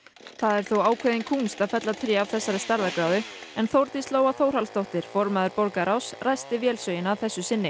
það er þó ákveðin kúnst að fella tré af þessari stærðargráðu en Þórdís Lóa Þórhallsdóttir formaður borgarráðs ræsti vélsögina að þessu sinni